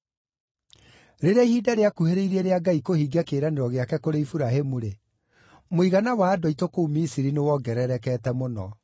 “Rĩrĩa ihinda rĩakuhĩrĩirie rĩa Ngai kũhingia kĩĩranĩro gĩake kũrĩ Iburahĩmu-rĩ, mũigana wa andũ aitũ kũu Misiri nĩwongererekete mũno.